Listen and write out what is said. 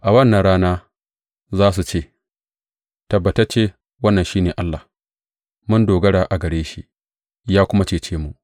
A wannan rana za su ce, Tabbatacce wannan shi ne Allah; mun dogara a gare shi, ya kuma cece mu.